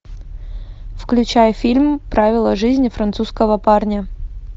включай фильм правила жизни французского парня